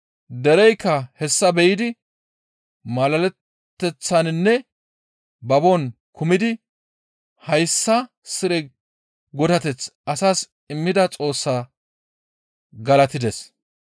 Dereykka hessa be7idi malaleteththaninne babon kumidi hayssa mala godateth asas immida Xoossaa galatides.